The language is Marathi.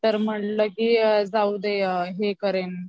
तर म्हटलं की जाऊ दे हे करेन